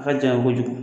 A ka janyan kojugu